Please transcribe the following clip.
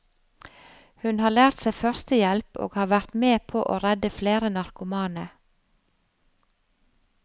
Hun har lært seg førstehjelp og har vært med på å redde flere narkomane.